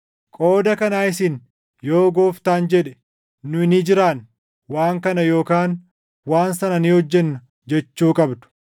Qooda kanaa isin, “Yoo Gooftaan jedhe, nu ni jiraanna; waan kana yookaan waan sana ni hojjenna” jechuu qabdu.